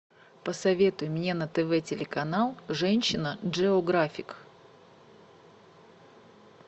посоветуй мне на тв телеканал женщина джеографик